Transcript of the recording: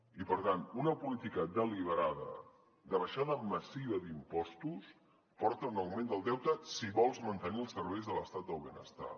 i per tant una política deliberada de baixada massiva d’impostos porta a un augment del deute si vols mantenir els serveis de l’estat del benestar